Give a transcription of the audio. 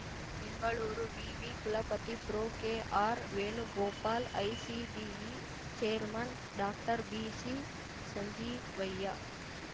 ಬೆಂಗಳೂರು ವಿವಿ ಕುಲಪತಿ ಪ್ರೊಕೆಆರ್‌ವೇಣುಗೋಪಾಲ್‌ ICBE chairman ಡಾಕ್ಟರ್ಬಿಸಿಸಂಜೀವಯ್ಯ